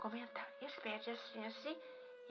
Comentavam e esse prédios assim e assim.